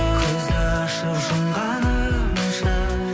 көзді ашып жұмғанымша